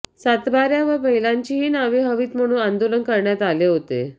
सातबाऱ्यावर महिलांचीही नावे हवीत म्हणून आंदोलन करण्यात आले होते